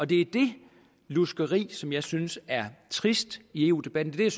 det er det luskeri som jeg synes er trist i eu debatten det er